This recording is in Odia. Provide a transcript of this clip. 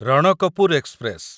ରଣକପୁର ଏକ୍ସପ୍ରେସ